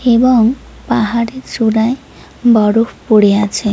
এবং পাহাড়ের চূড়ায় বরফ পরে আছে।